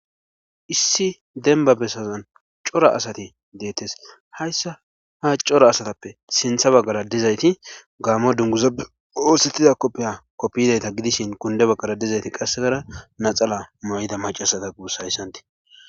issi denba besazan cora asati deettes hayssa ha cora asatappe sintha baggara dizayti gaamo dunguzae poosettida koppiya koppiyzayta gidishin kunde baggara dizayti qassegara naxala mooyida macasata guusa hayssanti